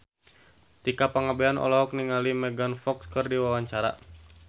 Tika Pangabean olohok ningali Megan Fox keur diwawancara